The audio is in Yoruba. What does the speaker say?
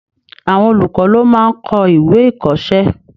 Àwọn olùkọ́ ló máa n kọ́ ìwé-ìkọ̀ọ́sẹ́